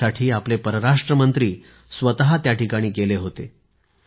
यासाठी आपले परराष्ट्रमंत्री स्वतः तिथे गेले होते